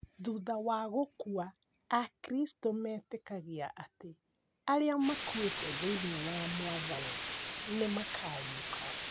Thutha wa gũkua akristo metĩkagia atĩ arĩa makuĩte thĩiniĩ wa mwathani nĩ makariũka